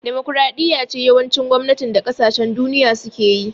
Demokaraɗiya ce yawancin gwamnatin da kasashen duniya suke yi